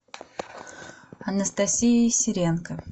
анастасией серенко